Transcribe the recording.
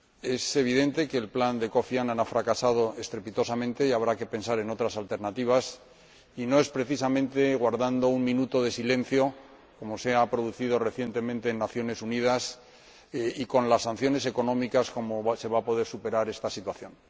Es evidente que el plan de Kofi Annan ha fracasado estrepitosamente y que habrá que pensar en otras alternativas, y no es precisamente guardando un minuto de silencio como se ha hecho recientemente en las Naciones Unidas y aplicando sanciones económicas que se va a poder superar esta situación.